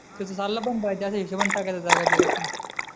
तिथे चालला पण पाहिजे अशा हिशोबाने टाकायचा सगळा बिझनेस